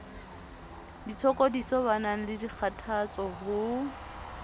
ditshokodiso banang le dikgathatso ho